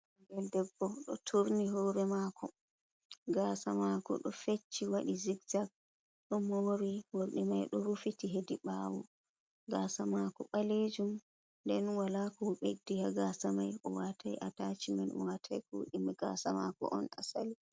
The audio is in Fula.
Ɓingel debbo "ɗo turni hore mako. Gasa mako ɗo fecci waɗi zigzak, ɗo mori morɗi mai ɗo rufiti hedi ɓawo, gasa mako ɓalejum. Nden wala ko, o ɓeddi ha gasa mai, o watai atachi man, o watai koɗime gasa mako on asali.